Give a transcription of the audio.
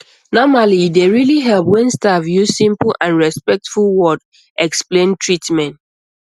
normally e dey really help when staff use simple and respectful word explain treatment